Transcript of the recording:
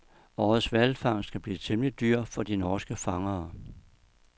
Årets hvalfangst kan blive temmelig dyr for de norske fangere.